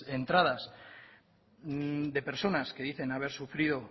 entradas de personas que dicen haber sufrido